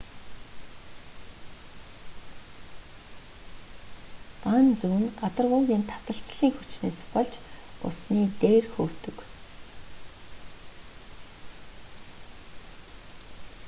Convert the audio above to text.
ган зүү нь гадаргуугийн таталцлын хүчнээс болж усны дээр хөвдөг